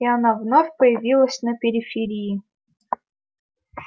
и она вновь появилась на периферии